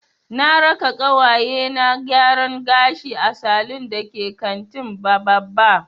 Na raka ƙawaye na gyaran gashi a salun da ke kantin Bababa.